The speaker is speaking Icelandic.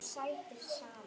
Ég segi því já.